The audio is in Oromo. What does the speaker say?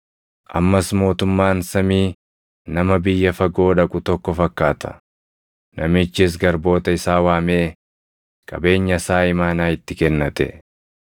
“Ammas mootummaan samii nama biyya fagoo dhaqu tokko fakkaata; namichis garboota isaa waamee qabeenya isaa imaanaa itti kennate.